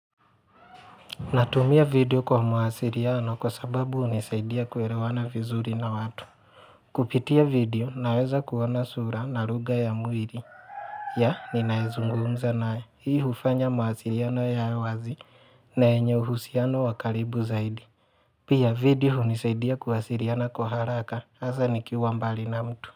Natumia video kwa mawasiliano kwa sababu hunisaidia kuelewana vizuri na watu. Kupitia video naweza kuona sura na lugha ya mwili. Ya ninaezungumza naye. Hii hufanya muwasiliano yawe wazi na yenye uhusiano wa karibu zaidi. Pia video hunisaidia kuwasiliana kwa haraka. Hasa nikiwa mbali na mtu.